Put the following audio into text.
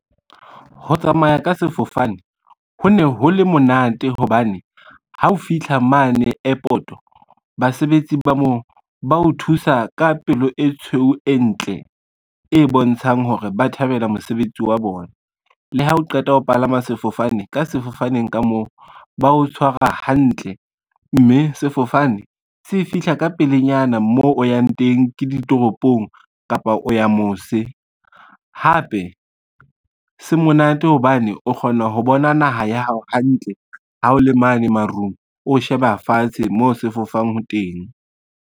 Ho tsamaya ka sefofane, ho ne ho le monate hobane ha o fitlha mane airport-o basebetsi ba mo ba o thusa ka pelo e tshweu e ntle, e bontshang hore ba thabela mosebetsi wa bona. Le ha o qeta ho palama sefofane ka sefofaneng ka moo ba o tshwara hantle, mme sefofane se fihla ka pelenyana mo o yang teng ke ditoropong, kapa o ya mose. Hape se monate hobane o kgona ho bona naha ya hao hantle, ha o le mane marung o sheba fatshe mo se fofang teng.